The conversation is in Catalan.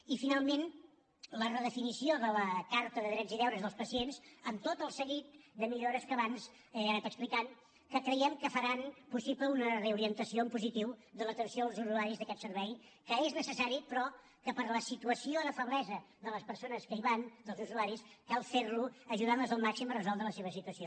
i finalment la redefinició de la carta de drets i deures dels pacients amb tot el seguit de millores que abans he anat explicant que creiem que faran possible una reorientació en positiu de l’atenció als usuaris d’aquest servei que és necessari però que per la situació de feblesa de les persones que hi van dels usuaris cal fer lo ajudant les al màxim a resoldre la seva situació